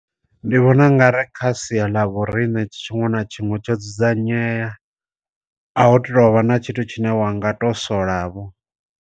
Ndi vhona u nga ri kha sia ḽa vhoriṋe tshiṅwe na tshiṅwe tsho dzudzanyea, a hu tovha na tshithu tshine wanga to sola vho.